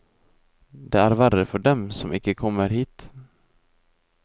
Det er verre for dem som ikke kommer hit.